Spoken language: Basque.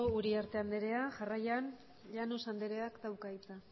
uriarte anderea jarraian llanos andereak dauka hitza